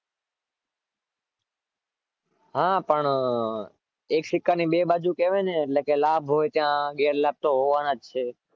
હા પણ એક સિક્કા ની બે બાજુ હોય ને લાભ હોય ત્યાં ગેરલાભ તો હોવાનાજ છે